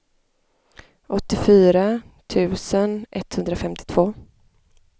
åttiofyra tusen etthundrafemtiotvå